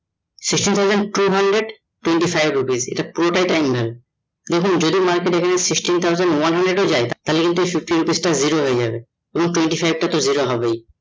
sisteen thousand two hundred twenty five rupees হবে পুরোটাই time value দেখুন যেই দিন market এখানে sixteen thousand one hundred ও যায় তাহলে কিন্তু interest টা zero হয়ে যাবে এবং twenty five টা তো zero হবেই